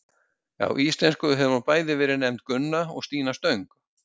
Á íslensku hefur hún bæði verið nefnd Gunna og Stína stöng.